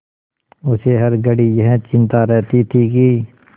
उसे हर घड़ी यही चिंता रहती थी कि